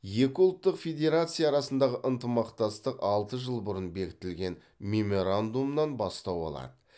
екі ұлттық федерация арасындағы ынтымақтастық алты жыл бұрын бекітілген меморандумнан бастау алады